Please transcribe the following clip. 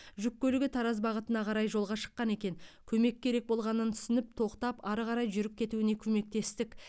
жүк көлігі тараз бағытына қарай жолға шыққан екен көмек керек болғанын түсініп тоқтап ары қарай жүріп кетуіне көмектестік